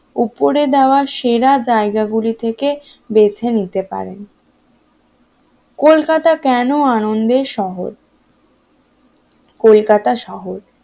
উপরে দেওয়ার সেরা জায়গা গুলি থেকে বেছে নিতে পারেন কলকাতা কেন আনন্দের শহর? কলকাতায় শহর